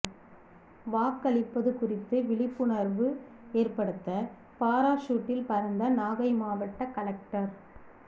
வாக்களிப்பது குறித்து விழிப்புணர்வு ஏற்படுத்த பாராசூட்டில் பறந்த நாகை மாவட்ட கலெக்டர்